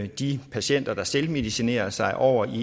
de patienter der selvmedicinerer sig over i